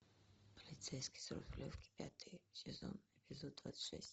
полицейский с рублевки пятый сезон эпизод двадцать шесть